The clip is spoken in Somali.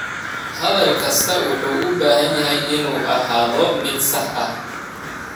Hadal kastaa wuxuu u baahan yahay inuu ahaado mid sax ah.